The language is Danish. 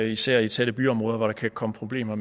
især i tætte byområder hvor der kan komme problemer